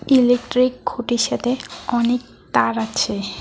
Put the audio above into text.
Electric খুঁটির সাথে অনেক তার আছে।